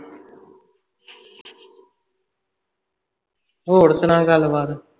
ਹੋਰ ਸੁਣਾ ਗੱਲ ਬਾਤ